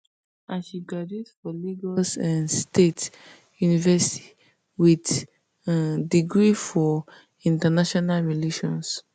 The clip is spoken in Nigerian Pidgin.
and she graduate for lagos um state university wit um degree for international relations